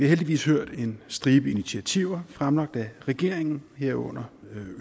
heldigvis hørt en stribe initiativer fremlagt af regeringen herunder